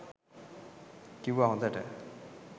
කිව්වා හොඳට